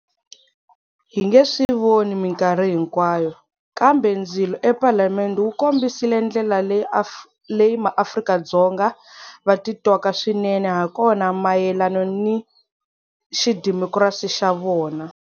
Hi nge swi voni mikarhi hinkwayo, kambe ndzilo ePalamende wu kombisile ndlela leyi maAfrika-Dzonga va titwaka swinene hakona mayelano ni xidemokirasi xa vona.